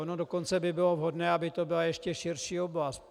Ono dokonce by bylo vhodné, aby to byla ještě širší oblast.